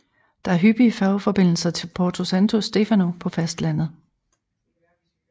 Der er hyppige færgeforbindelser til Porto Santo Stefano på fastlandet